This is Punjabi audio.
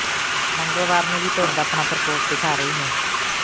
ਮੰਗਲਵਾਰ ਨੂੰ ਵੀ ਧੁੰਦ ਆਪਣਾ ਪ੍ਰਕੋਪ ਦਿਖਾ ਰਹੀ ਹੈ